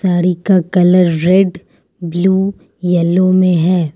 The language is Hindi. साड़ी का कलर रेड ब्लू येलो में हैं।